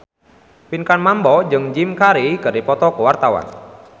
Pinkan Mambo jeung Jim Carey keur dipoto ku wartawan